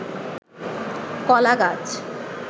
কলা গাছ